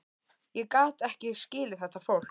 Ég gat ekki skilið þetta fólk.